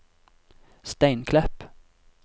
Steinklepp